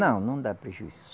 Não, não dá prejuízo.